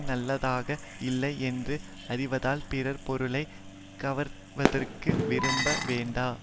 நல்லதாக இல்லை என்று அறிவதால் பிறர் பொருளை கவர்வதற்கு விரும்ப வேண்டா